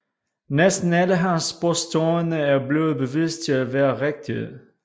Næsten alle hans påstande er blevet bevist til at være rigtige